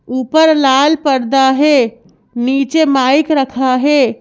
ऊपर लाल पर्दा है नीचे माइक रखा है।